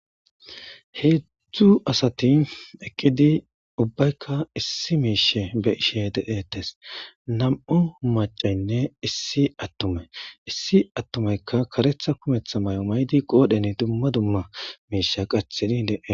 heedzdzu asati eqqidi ubbaykka issi miishe be ishe dedetes nam7u macaynne issi attume issi attumeykka karetha kumetha may7o maydi qoodhen dumma dumma miishe qathidi lee